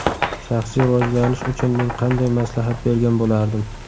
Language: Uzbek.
Shaxsiy rivojlanish uchun men qanday maslahat bergan bo‘lardim.